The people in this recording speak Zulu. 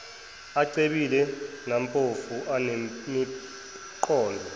acebile nampofu anemiqondo